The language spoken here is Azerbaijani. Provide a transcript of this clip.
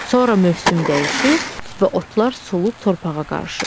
Sonra mövsüm dəyişir və otlar solub torpağa qarışır.